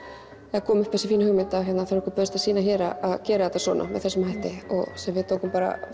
eða kom upp þessi fína hugmynd þegar okkur bauðst að sýna hér að gera þetta svona með þessum hætti og sem við tókum bara